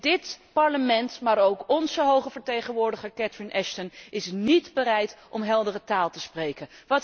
En dit Parlement, maar ook onze hoge vertegenwoordiger Catherine Ashton is niet bereid om heldere taal te spreken.